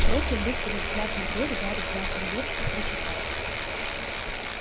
бросив быстрый взгляд на дверь гарри взял конверт и прочитал